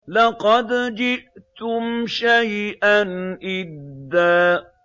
لَّقَدْ جِئْتُمْ شَيْئًا إِدًّا